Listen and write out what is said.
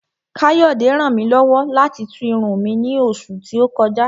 Káyọ̀dé ràn mí lọ́wọ́ láti tú irun mi ní oṣù tí ó kọjá